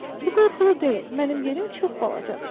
Bu qorxulu deyil, mənim yerim çox balacadır.